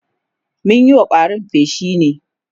mun Yi wa ƙwarin feshi ne